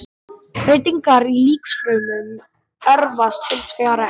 Breytingar í líkamsfrumum erfast hins vegar ekki.